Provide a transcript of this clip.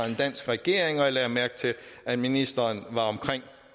en dansk regering og jeg lagde mærke til at ministeren var omkring